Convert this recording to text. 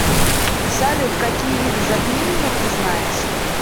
салют какие виды затмение ты знаешь